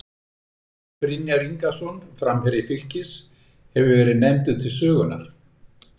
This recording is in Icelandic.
Albert Brynjar Ingason, framherji Fylkis, hefur verið nefndur til sögunnar.